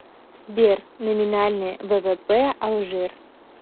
сбер номинальный ввп алжир